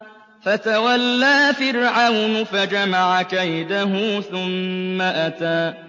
فَتَوَلَّىٰ فِرْعَوْنُ فَجَمَعَ كَيْدَهُ ثُمَّ أَتَىٰ